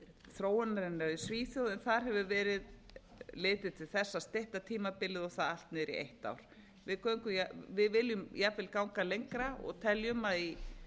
þróunarinnar í svíþjóð en þar hefur verið litið til þess að stytta tímabilið og það allt niður í eitt ár við viljum jafnvel ganga lengra og teljum að í